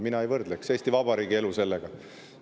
Mina ei võrdleks Eesti Vabariigi elu sellega.